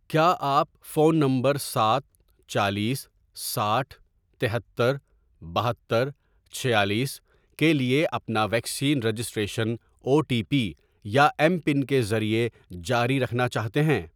کیا آپ phone number سات، چالیس، ساٹھ، تہتر، بہتر، چھیالیس، کے لیے اپنا vaccine registration O T P یا ایم پن کے ذریعے جاری رکھنا چاہتے ہیں؟